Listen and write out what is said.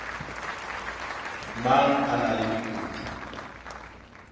mang a na le dikutu